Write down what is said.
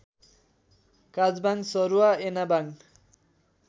काजबाङ सरुवा एनाबाङ